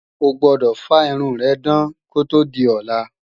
O gbọdọ̀ fá irun rẹ dán kó tó di ọ̀la!